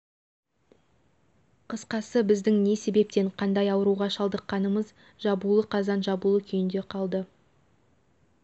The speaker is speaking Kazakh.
қысқасы біздің не себептен қандай ауруға шалдыққанымыз жабулы қазан жабулы күйінде қалды